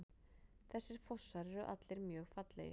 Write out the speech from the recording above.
Þessir fossar eru allir mjög fallegir.